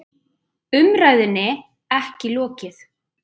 Umræðunni ekki lokið